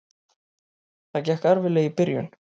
Það gekk erfiðlega í byrjun.